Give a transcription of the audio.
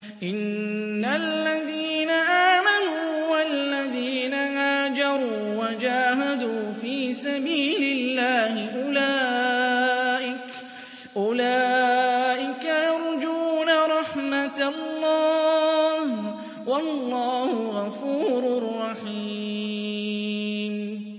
إِنَّ الَّذِينَ آمَنُوا وَالَّذِينَ هَاجَرُوا وَجَاهَدُوا فِي سَبِيلِ اللَّهِ أُولَٰئِكَ يَرْجُونَ رَحْمَتَ اللَّهِ ۚ وَاللَّهُ غَفُورٌ رَّحِيمٌ